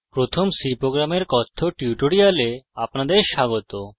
প্রথম c প্রোগ্রামের কথ্য টিউটোরিয়ালে আপনাদের স্বাগত